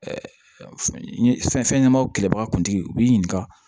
fɛn ɲɛnamaw kɛlɛbaga kuntigi u b'i ɲininka